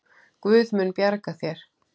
Guð mun bjarga þér.